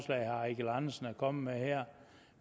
herre eigil andersen er kommet med her